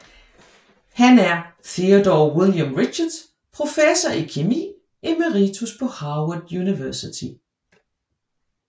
Han er Theodore William Richards Professor i kemi emeritus på Harvard University